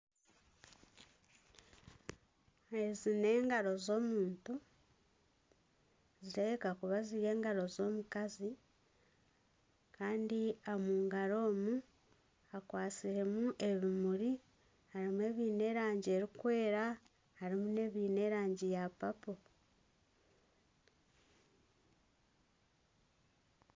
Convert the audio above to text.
Ezi n'engaro z'omuntu nizireebeka kuba ziri engaro z'omukazi Kandi omungaro hakwatsiremu ebimuri harimu ebiine erangi erikwera harimu nana ebiine erangi ya papo.